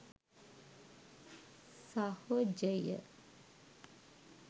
සහොජය